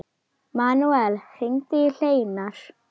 Manuel, hringdu í Hleinar.